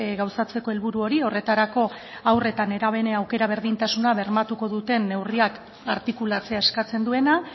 gauzatzeko helburu hori horretarako haur eta nerabeen aukera berdintasuna bermatuko duten neurriak artikulatzea eskatzen duena